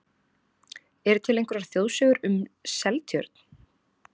Eru til einhverjar þjóðsögur um Seltjörn?